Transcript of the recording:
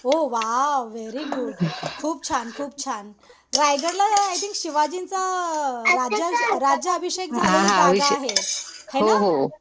ओ wow very good. खूप छान खुप छान. रायगडला आय थिंक शिवाजींचा राज्याभिषेक झालेली जागा आहे.